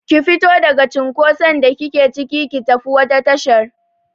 Ki fito daga cinkoson da kike cike, ki tafi wata tashar!